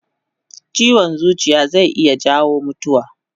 Chiwon zuciya zai iya jawo mutuwa